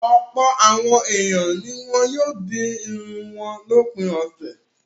Ọ̀pọ̀ àwọn ènìyàn ni wọ́n yóò di irun wọn lópin ọ̀sẹ̀.